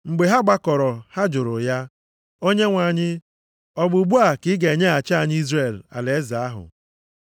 Mgbe ha gbakọrọ, ha jụrụ ya, “Onyenwe anyị, ọ bụ ugbu a ka i ga-enyeghachi Izrel alaeze ahụ?”